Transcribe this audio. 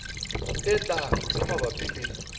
e tlang tse mabapi le